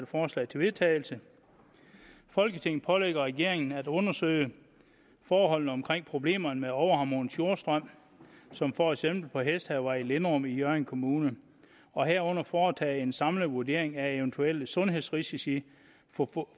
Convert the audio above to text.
forslag til vedtagelse folketinget pålægger regeringen at undersøge forholdene omkring problemerne med overharmonisk jordstrøm som for eksempel på hesthavevej i linderum i hjørring kommune og herunder foretage en samlet vurdering af eventuelle sundhedsrisici